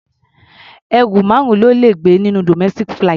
Ẹrù márùn-ún lo lè gbé nínú domestic flight.